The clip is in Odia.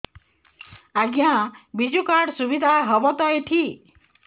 ଆଜ୍ଞା ବିଜୁ କାର୍ଡ ସୁବିଧା ହବ ତ ଏଠି